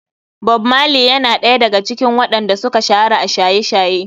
Bob marley yana ɗaya daga cikin waɗan da suka shahara a shaye-shaye.